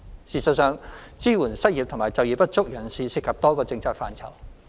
事實上，支援失業及就業不足人士涉及多個政策範疇。